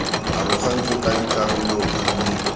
arogantswe ka dikarolo di le